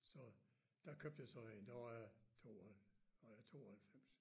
Så der købte jeg så en det var 2 og 92